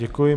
Děkuji.